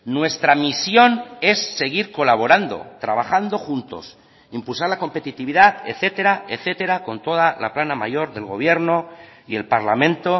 nuestra misión es seguir colaborando trabajando juntos impulsar la competitividad etcétera etcétera con toda la plana mayor del gobierno y el parlamento